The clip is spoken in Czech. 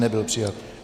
Nebyl přijat.